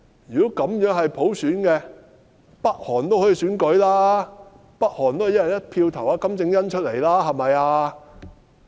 如果這都算是普選，北韓都可以實施普選，北韓都可以"一人一票"選金正恩出來，對吧？